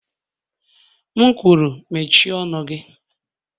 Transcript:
M kwuru mechie ọnụ gị.!